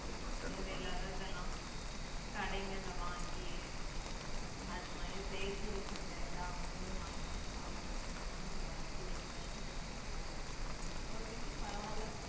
தேவை இல்லாதது இதெல்லாம் கடைங்கள்ல வாங்கி அது மாதிரி செயற்கையில செஞ்ச எல்லா உணவையும் வாங்கி வாங்கி சாப்பிட்டு சாப்பிட்டுதான் இப்ப பிள்ளைக்கு வயிறு வலி வந்துருக்கு இப்போதைக்கு பரவாயில்லை